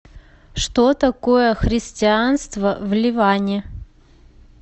что такое христианство в ливане